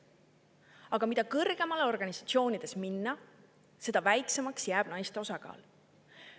Aga mida kõrgemale organisatsioonides minna, seda väiksemaks jääb naiste osakaal.